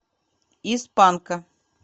из панка